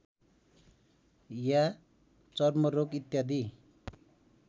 या चर्मरोग इत्यादि